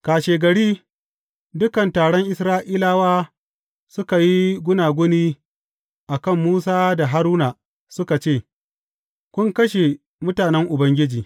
Kashegari dukan taron Isra’ilawa suka yi gunaguni a kan Musa da Haruna suka ce, Kun kashe mutanen Ubangiji.